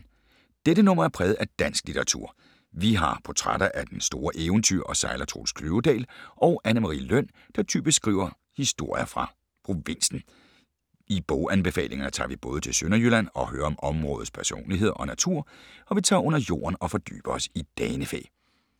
Dette nummer er præget af dansk litteratur. Vi har portrætter af den store eventyrer og sejler Troels Kløvedal og af Anne Marie Løn, der typisk skriver historier fra provinsen. I boganbefalingerne tager vi både til Sønderjylland og hører om områdets personligheder og natur, og vi tager under jorden og fordyber os i danefæ.